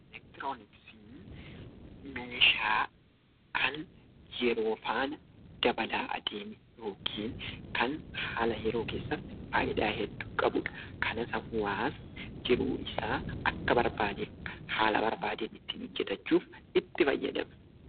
Elektirooniksiin meeshaa kan yeroo faana dabalaa adeemu yookiin kan haala yeroo keessatti faayidaa hedduu qabudha. Kanas hawaasni jiruu isaa akka barbaade, haala barbaadeen ittiin hojjetachuuf itti fayyadama